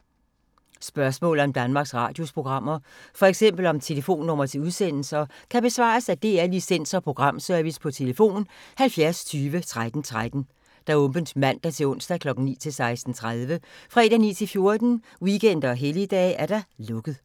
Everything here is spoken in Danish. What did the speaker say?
Spørgsmål om Danmarks Radios programmer, f.eks. om telefonnumre til udsendelser, kan besvares af DR Licens- og Programservice: tlf. 70 20 13 13, åbent mandag-torsdag 9.00-16.30, fredag 9.00-14.00, weekender og helligdage: lukket.